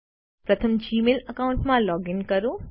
પ્રથમ જીમેલ એકાઉન્ટમાં લૉગિન કરો